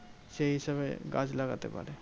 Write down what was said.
সেই হিসেবে গাছ লাগাতে পারে।